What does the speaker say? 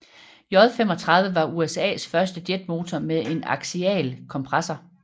J35 var USAs første jetmotor med en aksial kompressor